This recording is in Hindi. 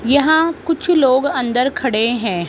यहां कुछ लोग अंदर खड़े हैं।